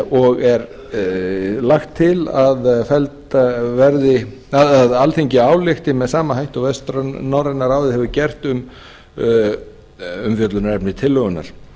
og er lagt til að alþingi álykti með sama hætti og vestnorræna ráðið hefur gert um umfjöllunarefni tillögunnar